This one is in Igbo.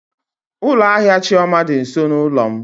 Ụlọ ahịa Chioma dị nso n'ụlọ m.